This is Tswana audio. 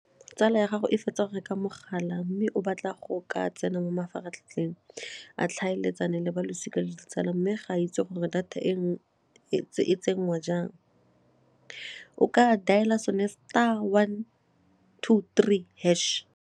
Tsala ya gago e fetsa go reka mogala mme o batla go ka tsena mo mafaratlhatlheng a tlhaeletsano le ba losika le ditsala mme ga a itse gore data e tsenngwa jang, o ka dialer sone star one two three hash.